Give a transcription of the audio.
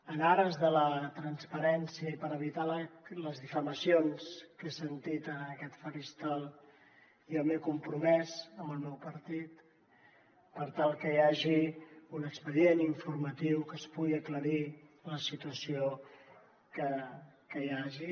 en ares de la transparència i per evitar les difamacions que he sentit en aquest faristol jo m’he compromès amb el meu partit per tal que hi hagi un expedient informatiu que pugui aclarir la situació que hi hagi